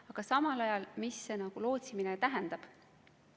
Aga mida üldse lootsimine tähendab?